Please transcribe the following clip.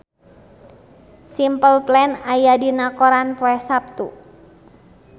Simple Plan aya dina koran poe Saptu